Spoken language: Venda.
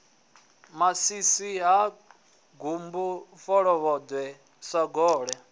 masisi ha gumbu folovhoḓwe sagole